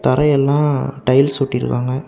தரையெல்லா tiles ஒட்டி இருக்காங்க.